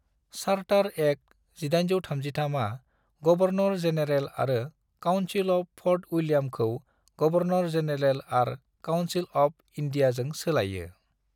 Charter act 1833 आ governor general आरो council of Fort उइलियामखौ गवर्नर-जेनेरेल आर काउन्सिल अफ इन्डियाजों सोलाइयो।